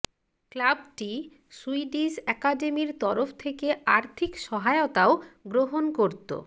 ক্লাবটি সুইডিশ অ্যাকাডেমির তরফ থেকে আর্থিক সহায়তাও গ্রহণ করত